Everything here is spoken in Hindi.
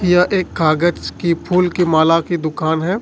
यह एक कागज की फूल की माला की दुकान है।